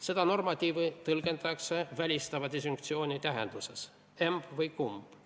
Seda normatiivi tõlgendatakse välistava disjunktsiooni tähenduses: emb või kumb.